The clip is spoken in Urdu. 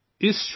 ''